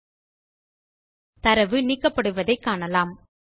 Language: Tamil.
நீங்கள் தரவு நீக்கப்படுவதை காணலாம்